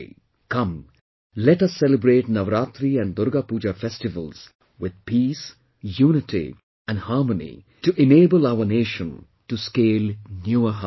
Come, let us celebrate Navratri and Durga Puja festivals with peace, unity and harmony to enable our nation to scale newer heights